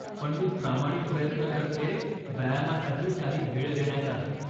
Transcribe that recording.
पण मी प्रामाणिक प्रयत्न करतेय, व्यायामासाठी काही वेळ देण्याचा.